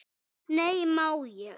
Nei, má ég!